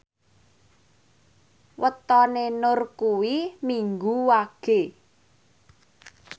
wetone Nur kuwi Minggu Wage